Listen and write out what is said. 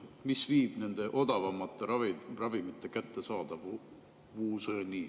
Mis viib nende odavamate ravimite kättesaadavuseni?